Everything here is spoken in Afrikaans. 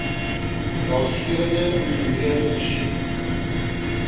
raadgewende ingenieur versoek